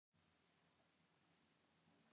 Ekkert af þessu gengur upp.